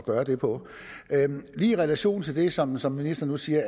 gøre det på lige i relation til det som som ministeren nu siger